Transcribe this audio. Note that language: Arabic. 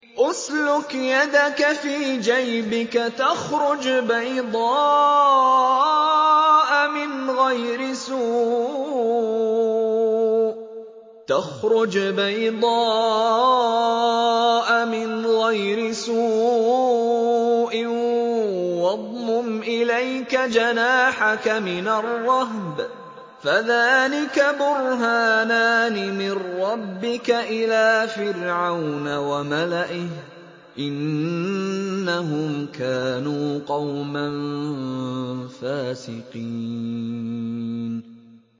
اسْلُكْ يَدَكَ فِي جَيْبِكَ تَخْرُجْ بَيْضَاءَ مِنْ غَيْرِ سُوءٍ وَاضْمُمْ إِلَيْكَ جَنَاحَكَ مِنَ الرَّهْبِ ۖ فَذَانِكَ بُرْهَانَانِ مِن رَّبِّكَ إِلَىٰ فِرْعَوْنَ وَمَلَئِهِ ۚ إِنَّهُمْ كَانُوا قَوْمًا فَاسِقِينَ